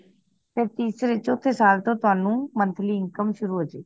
ਤੇ ਤੀਸਰੇ ਚੋਥੇ ਸਾਲ ਤੋਂ ਤੁਹਾਨੂੰ monthly income ਸ਼ੁਰੂ ਹੋ ਜੇ ਗੀ